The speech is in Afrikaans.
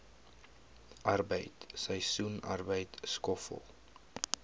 arbeid seisoensarbeid skoffel